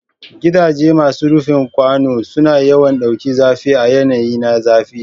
Gidaje masu rufin kwano suna yawan ɗaukan zafi a yanayi na zafi.